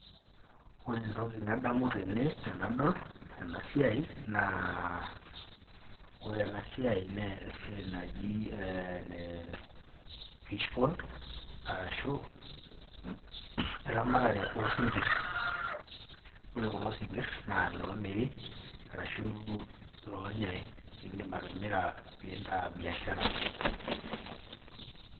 ore entoki nadamu tene tendol ena siai, ore ena siai naa esiiai naji ene fish pond arashu eramatare oosinkir. ore kulo sinkir naa iloo miri arsu iloonyae, idim atimira pee intaa biashara.